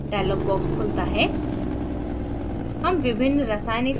insert fragment dialog box खुलता है